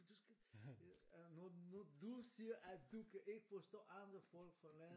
Du skal øh når når du siger at du kan ikke forstå andre folk fra landet